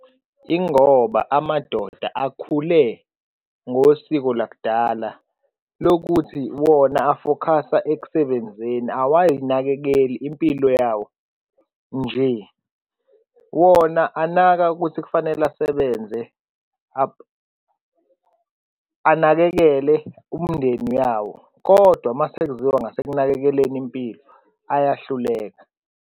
Ingoba amadoda akhule ngosiko lakudala lokuthi wona afokhasa ekusebenzeni awayinakekeli impilo yawo nje. Wona anaka ukuthi kufanele asebenze, anakekele umndeni yawo kodwa uma sekuziwa ngasekunakekeleni impilo ayahluleka.